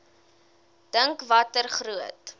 dink watter groot